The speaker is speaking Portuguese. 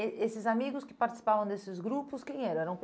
Eh esses amigos que participavam desses grupos, quem eram? Eram